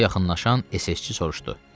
Ona yaxınlaşan SS-çi soruşdu.